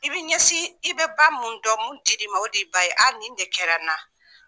I bɛ ɲɛsin, i bɛ ba mun dɔn mun diri ma o d'i ba ye, a ni de kɛra n na.